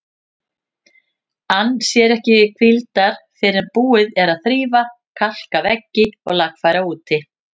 Ann sér ekki hvíldar fyrr en búið er að þrífa, kalka veggi og lagfæra úti.